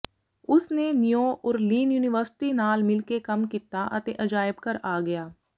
ਉਸ ਨੇ New Orleans university ਨਾਲ ਮਿਲ ਕੇ ਕੰਮ ਕੀਤਾ ਅਤੇ ਅਜਾਇਬ ਘਰ ਆ ਗਿਆ